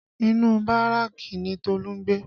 Inu Báràkì ni Tolu ń gbé